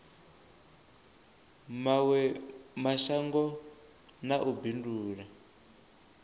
mawe mashango na u bindula